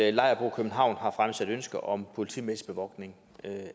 at lejerbo i københavn har fremsat ønske om politimæssig bevogtning